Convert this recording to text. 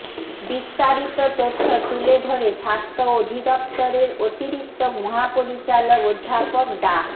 বিস্তারিত তথ্য তুলে ধরে স্বাস্থ্য অধিদপ্তরের অতিরিক্ত মহাপরিচালক অধ্যাপক ডা